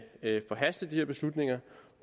forhaste de her beslutninger